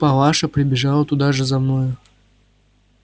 палаша прибежала туда же за мною